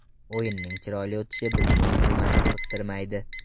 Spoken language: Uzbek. O‘yinning chiroyli o‘tishi bizni umuman qiziqtirmaydi.